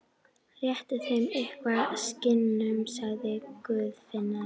Réttu þeim eitthvað, skinnunum, sagði Guðfinna.